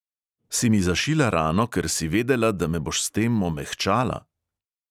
Si mi zašila rano, ker si vedela, da me boš s tem omehčala?